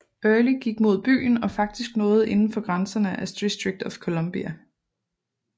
Early gik mod byen og faktisk nåede inden for grænserne af District of Columbia